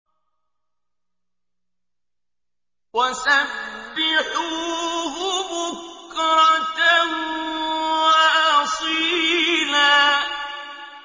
وَسَبِّحُوهُ بُكْرَةً وَأَصِيلًا